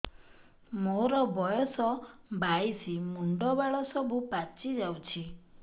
ମୋର ବୟସ ବାଇଶି ମୁଣ୍ଡ ବାଳ ସବୁ ପାଛି ଯାଉଛି